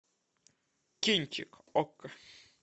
кинчик окко